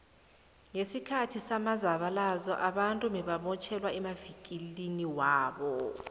nqesikhathi samzabalazo abantu bebamotjhelwa emavikiliniwabo